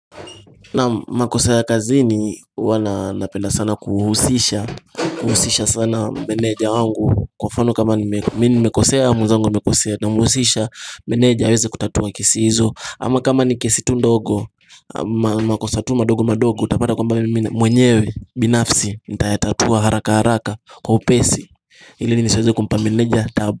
Naam makosa ya kazi huwa na napenda sana kuhusisha kuhusisha sana meneja wangu Kwa mfano kama nime mimi nimekosea mwezangu amekosea Namhusisha meneja aweze kutatua kesi hizo ama kama ni kesi tu ndogo makosa tu madogo madogo Utapada kwamba me mwenyewe binafsi nitatayatatua haraka haraka kwa upesi ili nisiweze kumpa meneja taabu.